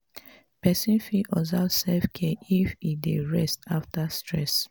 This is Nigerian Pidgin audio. person fit observe self care if im dey rest after stress